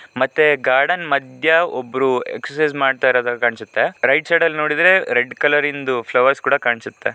ಮತ್ತೆ ಗಾರ್ಡನ್ ಮಧ್ಯೆ ಒಬ್ಬರು ಎಕ್ಸರ್ಸೈಜ್ ಮಾಡೋ ತರ ಕಾಣುತ್ತಿದೆ ರೈಟ್ ಸೈಡ್ ಅಲ್ಲಿ ನೋಡುದ್ರೆ ರೆಡ್ ಕಲರ್ರಿಂದು ಫ್ಲವರ್ ಕೂಡ ಕಾಣ್ಸುತ್ತೆ.